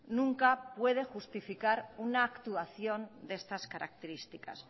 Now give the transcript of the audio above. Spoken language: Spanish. nunca puedo justificar una actuación de estas características